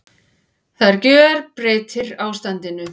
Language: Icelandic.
Það gjörbreytir ástandinu